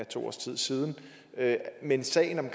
to år siden siden men i sagen om